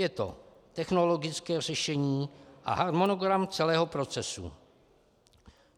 Je to technologické řešení a harmonogram celého procesu.